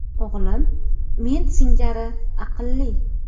O‘g‘lim men singari aqlli.